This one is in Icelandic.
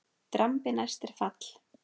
Drambi næst er fall.